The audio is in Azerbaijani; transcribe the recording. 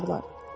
Dağılacaq.